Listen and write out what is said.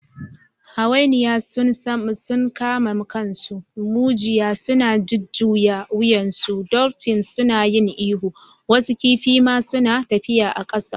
Hawainiya sun kama kansu, mujiya suna jujjuya wuyansu, dolphins suna yin ihu, wasu kifi ma suna tafiya a ƙasa!